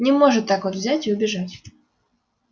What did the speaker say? не может так вот взять и убежать